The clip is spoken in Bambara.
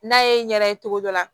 N'a ye n yɛrɛ ye togo dɔ la